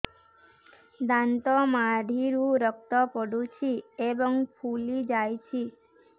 ଦାନ୍ତ ମାଢ଼ିରୁ ରକ୍ତ ପଡୁଛୁ ଏବଂ ଫୁଲି ଯାଇଛି